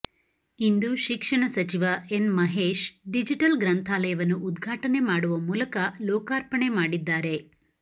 ಇಂದು ಶಿಕ್ಷಣ ಸಚಿವ N Mahesh digital ಗ್ರಂಥಾಲಯವನ್ನು ಉದ್ಘಾಟನೆ ಮಾಡುವ ಮೂಲಕ ಲೋಕಾರ್ಪಣೆ ಮಾಡಿದ್ದಾರೆ